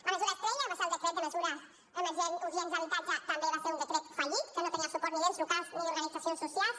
la mesura estrella va ser el decret de mesures urgents d’habitatge també va ser un decret fallit que no tenia el suport ni d’ens locals ni d’organitzacions socials